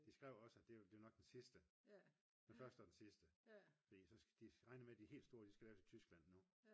de skrev også at det var nok den sidste. Den første og den sidste. De regner med at de helt de skal laves i Tyskland nu